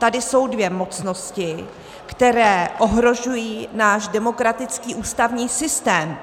Tady jsou dvě mocnosti, které ohrožují náš demokratický ústavní systém.